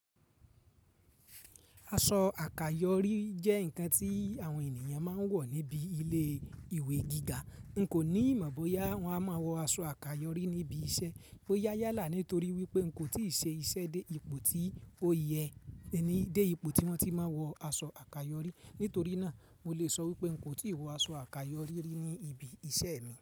Aṣọ àkàyọ́rí jẹ́ ǹkan tí àwọn ènìyàn máa ń wọ̀ níbi ilé ìwé gíga. N kò ní mọ̀ bóyá wọ́n á máa wọ aṣọ àkàyọ́rí níbi iṣẹ́. Ó yáyálà nítorí wípé n kò tíì ṣe ìṣe dé ipò tí ó yẹ ní dé ipò tí wọ́n ti máa wọ aṣọ àkàyọ́rí. Nítorí náà, mo lè sọ wípé n kò tíì wọ aṣọ àkàyọ́rí ní ibi iṣẹ́ mi.